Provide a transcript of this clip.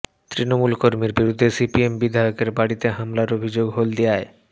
তৃণমূল কর্মীর বিরুদ্ধে সিপিএম বিধায়কের বাড়িতে হামলার অভিযোগ হলদিয়ায়